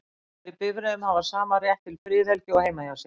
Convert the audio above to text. Farþegar í bifreiðum hafa sama rétt til friðhelgi og heima hjá sér.